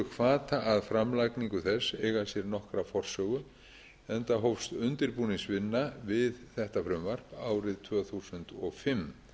hvata að framlagningu þess eiga sér nokkra forsögu enda hófst undirbúningsvinna við þetta frumvarp árið tvö þúsund og fimm